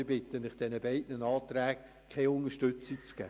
Ich bitte Sie, diesen beiden Anträgen keine Unterstützung zu geben.